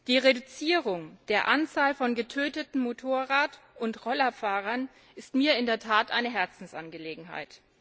Die Reduzierung der Anzahl von getöteten Motorrad und Rollerfahrern ist mir in der Tat eine Herzensangelegenheit.